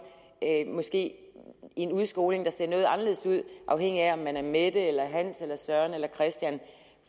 måske en udskoling der ser noget anderledes ud afhængig af om man er mette eller hans eller søren eller christian